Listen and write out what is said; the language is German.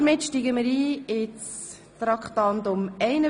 Wir steigen ein in Traktandum 51.